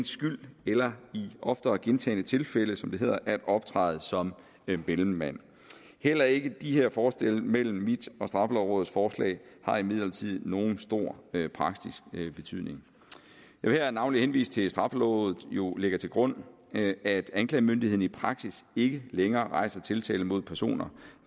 skyld eller i ofte og gentagne tilfælde som det hedder at optræde som mellemmand heller ikke de her forskelle mellem mit og straffelovrådets forslag har imidlertid nogen stor praktisk betydning jeg vil her navnlig henvise til at straffelovrådet jo lægger til grund at anklagemyndigheden i praksis ikke længere rejser tiltale mod personer